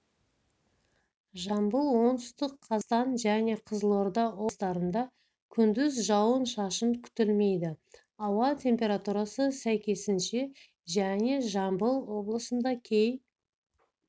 жамбыл оңтүстік қазақстан және қызылорда облыстарында күндіз жауын-шашын күтілмейді ауа температурасы сәйкесінше және жамбыл облысында кей